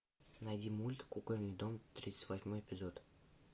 найди мульт кукольный дом тридцать восьмой эпизод